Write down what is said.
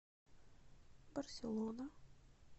барселона